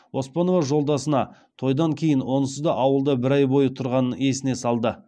оспанова жолдасына тойдан кейін онсыз да ауылда бір ай бойы тұрғанын есіне салды